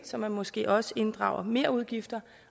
så man måske også inddrager merudgifter